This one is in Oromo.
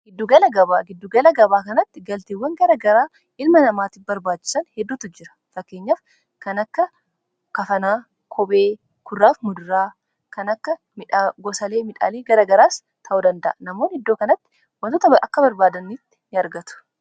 giddugala gabaa kanatti galtiiwwan garagaraa ilma namaati barbaachisan hedduutu jira fakkeenyaf kan akka kafanaa kobee kurraaf mudiraa kan akka gosalee midhaalii garagaraas ta'u danda'a namoon iddoo kanatti wantoota akka barbaadaniitti nyaargatu